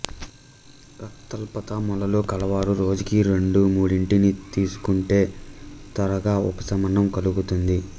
రక్తాల్పత మొలలు కలవారు రోజుకి రెండు మూడింటిని తీసుకుంటే త్వరగా ఉవశమనం కలుగుతుంది